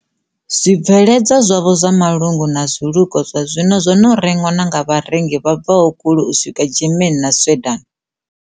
Zwibveledzwa zwavho zwa malungu na zwilukwa zwa zwino zwo no rengwa na nga vharengi vha bvaho kule u swika Germany na Sweden.